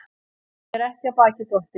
Að vera ekki af baki dottinn